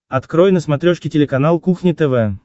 открой на смотрешке телеканал кухня тв